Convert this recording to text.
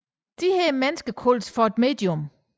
Disse mennesker kaldes for et medium